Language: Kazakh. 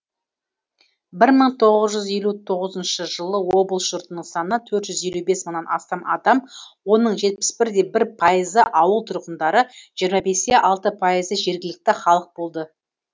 бір мың тоғыз жүз елу тоғызыншы жылы облыс жұртының саны төрт жүз елу бес мыңнан астам адам оның жетпіс бір де бір пайызы ауыл тұрғындары жиырма бес те алты пайызы жергілікті халық болды